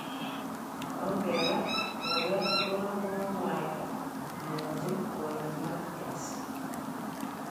Ongebar ," boyot Rono kokokomwaita komwochin boyo Matias.